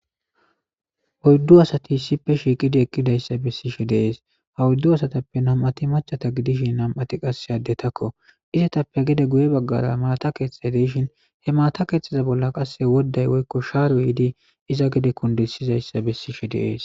Oyidu asati issippe shiiqidi eqidays besishe deiyayisa besishe deas ha oyidu asatappe nam'ati nam'ati maca nam'ati qase addetakko izatappe gede guye bagara mata keeththay dishin he mata keeththezi bola woday woyikko sharay yidi iza gede kundisizayisa beseshe deas.